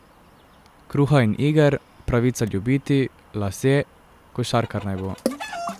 Kruha in iger, Pravica ljubiti, Lasje, Košarkar naj bo ...